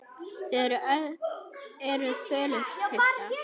Þið eruð fölir, piltar.